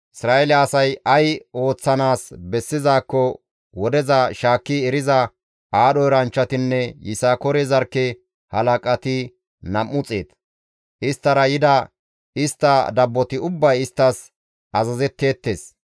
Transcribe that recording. Isra7eele asay ay ooththanaas bessizaakko wodeza shaakki eriza aadho eranchchatinne Yisakoore zarkke halaqati nam7u xeet; isttara yida istta dabboti ubbay isttas azazetteettes.